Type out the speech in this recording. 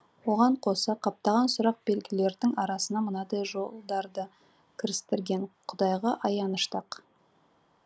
оған қоса қаптаған сұрақ белгілердің арасына мынадай жолдарды кірістірген құдайға аянышты ақ